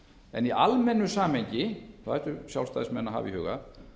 en í almennu samhengi það ættu sjálfstæðismenn að hafa í huga